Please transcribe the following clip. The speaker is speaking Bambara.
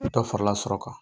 Ni dɔ farala sɔrɔ kan